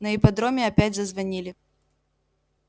на ипподроме опять зазвонили